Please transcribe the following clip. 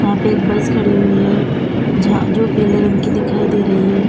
यहां पे एक बस खड़ी हुई है जहां जो पीले रंग की दिखाई दे रही है।